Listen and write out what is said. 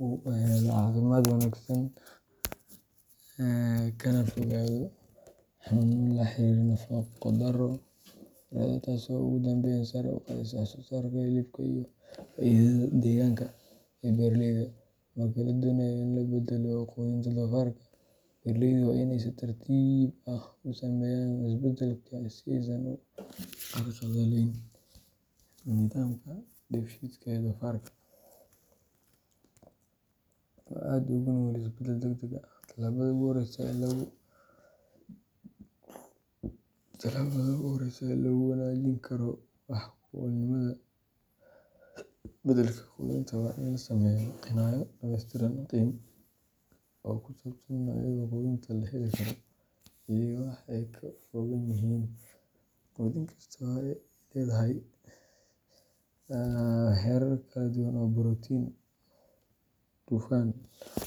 uu helo caafimaad wanaagsan, kana fogaado xanuuno la xiriira nafaqo darrada, taasoo ugu dambeyn sare u qaadaysa wax-soo-saarka hilibka iyo faa’iidada dhaqaalaha ee beeraleyda. Marka la doonayo in la beddelo quudinta doofarka, beeraleydu waa inay si tartiib ah u sameeyaan isbeddelka si aysan u carqaladeynin nidaamka dheefshiidka ee doofarka, oo aad ugu nugul isbeddel degdeg ah. Tallaabada ugu horreysa ee lagu wanaajin karo wax ku oolnimada beddelka quudinta waa in la sameeyo qiimayn dhameystiran oo ku saabsan noocyada quudinta la heli karo, iyo waxa ay ka kooban yihiin. Quudin kasta waxa ay leedahay heerar kala duwan oo borotiin, dufan.